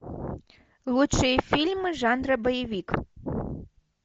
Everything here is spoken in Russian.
лучшие фильмы жанра боевик